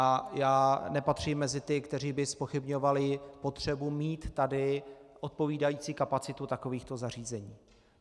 A já nepatřím mezi ty, kteří by zpochybňovali potřebu mít tady odpovídající kapacitu takovýchto zařízení.